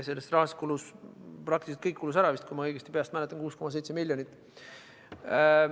Sellest rahast kulus praktiliselt kõik vist ära, kui ma õigesti peast mäletan – 6,7 miljonit.